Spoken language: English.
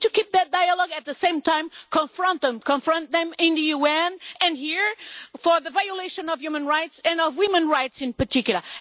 We need to keep that dialogue and at the same time confront them confront them in the UN and here for the violation of human rights and of women's rights in particular.